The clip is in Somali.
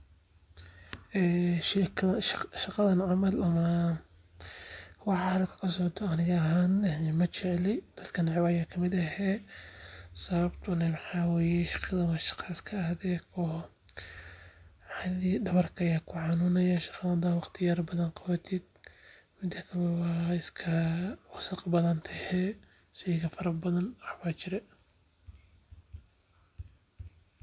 Shaqadan camal ama waxa halkan kasocdo ani ahaan majecli sababta oo ah waa shaqa adag dadbrka ayaa ku xaniunaya.